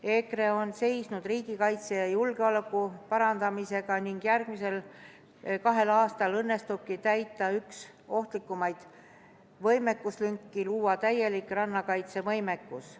EKRE on seisnud riigikaitse ja julgeoleku parandamise eest ning järgmisel kahel aastal õnnestubki täita üks ohtlikumaid võimekuslünki – luua täielik rannakaitsevõimekus.